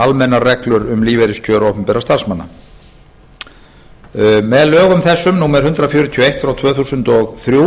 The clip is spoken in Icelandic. almennar reglur um lífeyriskjör opinberra starfsmanna með lögum þessum númer hundrað fjörutíu og eitt tvö þúsund og þrjú